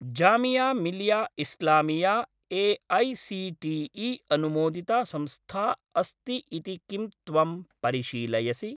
Jamia Millia Islamia AICTE. अनुमोदिता संस्था अस्ति इति किं त्वं परिशीलयसि?